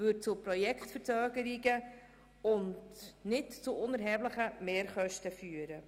Das würde zu Projektverzögerungen und nicht unerheblichen Mehrkosten führen.